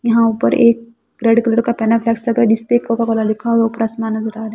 यहां ऊपर एक रेड कलर का पेनाफ्लेक्स लगा जिस पे कोका कोला लिखा हुआ है ऊपर असमान --